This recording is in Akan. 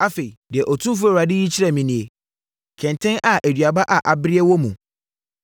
Afei, deɛ Otumfoɔ Awurade yi kyerɛɛ me nie: kɛntɛn a aduaba a abereɛ wɔ mu.